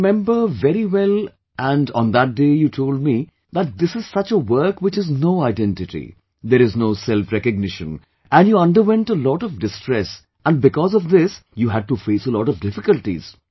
I remember very well and on that day you told me that this is such a work which has no identity, there is no selfrecognition, and you underwent a lot of distress and because of this you had to face a lot of difficulties